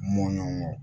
Mɔɲɔn kɔ